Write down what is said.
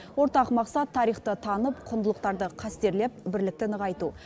ортақ мақсат тарихты танып құндылықтарды қастерлеп бірлікті нығайту